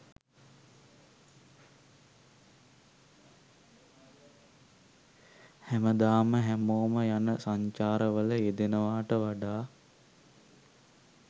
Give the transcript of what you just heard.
හැමදාම හැමෝම යන සංචාර වල යෙදෙනවාට වඩා